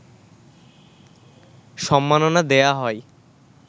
সম্মাননা দেয়া হয়